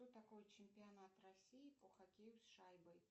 что такое чемпионат россии по хоккею с шайбой